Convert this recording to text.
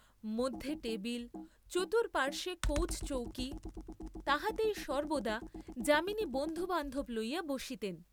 মধ্যে টেবিল, চতুঃপার্শ্বে কৌচ চৌকি, তাহাতেই সর্ব্বদা যামিনী বন্ধুবান্ধব লইয়া বসিতেন।